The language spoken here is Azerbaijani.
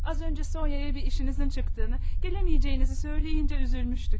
Az öncə Sonya'ya bir işinizin çıxdığını, gələməyəcəyinizi söyləyincə üzülmüşdük.